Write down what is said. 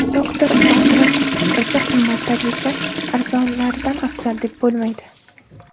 Doktor Batraning fikricha, qimmat tagliklar arzonlaridan afzal, deb bo‘lmaydi.